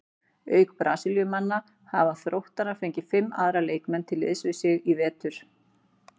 Auk Brasilíumannanna hafa Þróttarar fengið fimm aðra leikmenn til liðs við sig í vetur.